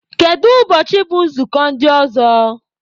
Kedụ ụbọchị bụ nzukọ ndị ọzọ?